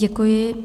Děkuji.